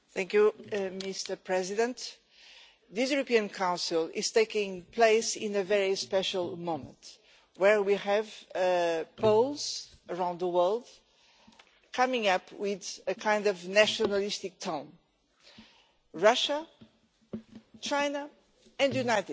Mr President, this European Council is taking place at a very special moment, where we have polls around the world coming up with a nationalistic tone in Russia, China and the United States.